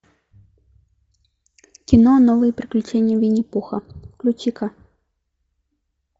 кино новые приключения винни пуха включи ка